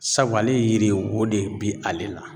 Sabu ale ye yiri ye o de bɛ ale la.